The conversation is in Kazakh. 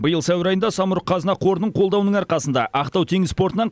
биыл сәуір айында самұрық қазына қорының қолдауының арқасында ақтау теңіз портынан